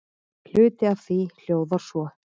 Hluti af því hljóðar svo